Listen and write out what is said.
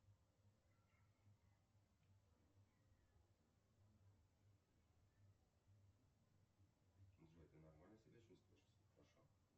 джой ты нормально себя чувствуешь все хорошо